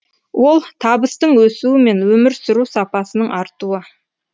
ол табыстың өсуі мен өмір сүру сапасының артуы